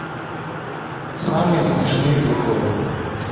самые смешные приколы